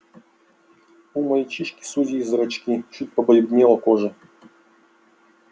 у мальчишки сузились зрачки чуть побледнела кожа